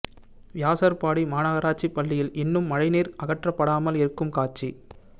வியாசார் பாடி மாநகராட்சி பள்ளியில் இன்னும் மழை நீர் அகற்றப்படாமல் இருக்கும் காட்சி